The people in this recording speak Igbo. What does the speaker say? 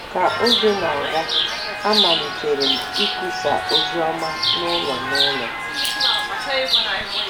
Ka oge na-aga, amalitere m ịkwusa oziọma n'ụlọ n'ụlọ.